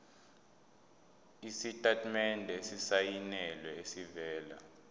isitatimende esisayinelwe esivela